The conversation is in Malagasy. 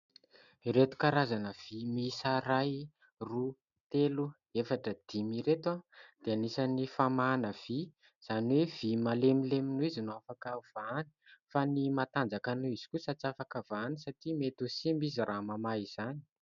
Ireto karazana vy miisa iray, roa, telo, efatra, dimy ireto dia anisany famahana vy izany hoe vy malemilemy noho izy no afaka ho vahany ; fa ny matanjaka noho izy kosa tsy afaka vahany satria mety ho simba izy raha mamaha izany.